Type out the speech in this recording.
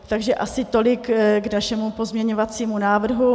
Takže asi tolik k našemu pozměňovacímu návrhu.